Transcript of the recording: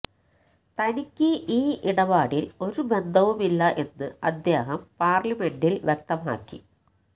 തനിക്ക് ഈ ഇടപാടില് ഒരു ബന്ധവുമില്ല എന്ന് അദ്ദേഹം പാര്ലിമെന്റില് വ്യക്തമാക്കി